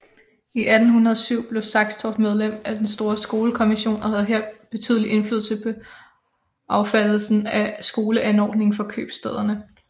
I 1807 blev Saxtorph medlem af den store skolekommission og havde her betydelig indflydelse på affattelsen af skoleanordningen for købstæderne